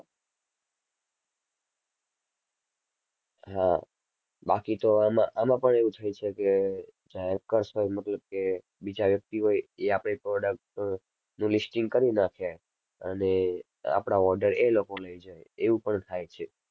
હા બાકી તો આમાં આમાં પણ એવું થઈ શકે જે hackers હોય મતલબ કે બીજા વ્યક્તિ હોય એ આપણી product નું listing કરી નાખે અને આપણાં order એ લોકો લઈ જાય એવું પણ થાય છે.